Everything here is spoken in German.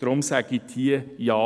Deshalb sagen Sie hier Ja.